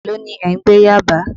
Èló ni ẹ̀ ń gbé Yábàá?.